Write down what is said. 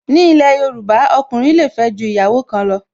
Ni ilẹ̀ Yorùbá, ọkùnrin le fẹ́ ju ìyàwó kan lọ